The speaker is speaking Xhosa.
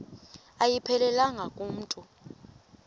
ayiphelelanga ku mntu